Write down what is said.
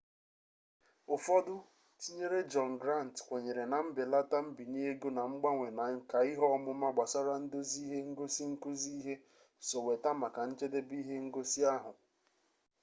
ụfọdụ tinyere jọn grant kwenyere na mbelata mbinye ego na mgbanwe na nka ihe ọmụma gbasara ndozi ihe ngosi nkuzi ihe so weta maka njedebe ihe ngosi ahụ